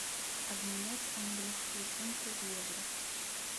обменять английские фунты в евро